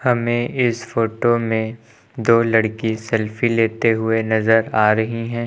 हमें इस फोटो में दो लड़की सेल्फी लेते हुए नज़र आ रही हैं।